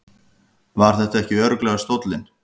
Var þetta ekki örugglega stóllinn?